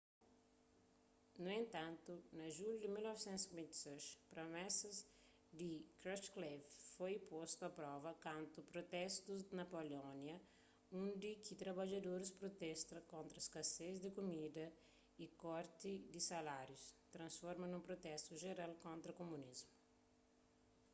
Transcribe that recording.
nu entantu na junhu di 1956 promesas di krushchev foi postu a prova kantu protestus na polónia undi ki trabadjadoris protesta kontra skases di kumida y korti di salarius transforma nun protestu jeral kontra kumunismu